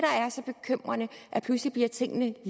at pludselig bliver tingene